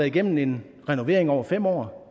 igennem en renovering over fem år